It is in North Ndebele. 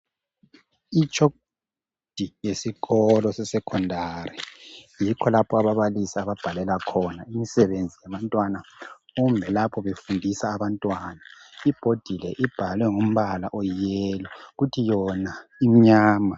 Umgwembe wokubhalela esikolo sesecondary. Yikho lapha ababalisi ababhalela khona, nxa befundisa abantwana. Wona umnyama, ubhalwe ngamatshoko alithanga.